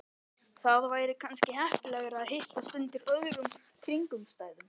Það væri kannski heppilegra að hittast undir öðrum kringumstæðum